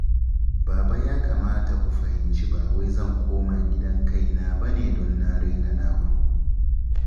Baba ya kamata ku fahimci ba wai zan koma gidan kaina ba ne don na raina naku